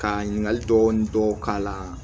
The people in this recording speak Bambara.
Ka ɲininkali dɔɔni dɔw k'a la